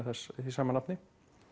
því sama nafni